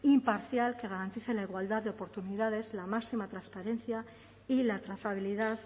imparcial que garantice la igualdad de oportunidades la máxima transparencia y la trazabilidad